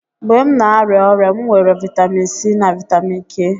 Mgbe m na-arịa ọrịa, m weere vitamin C na vitamin K.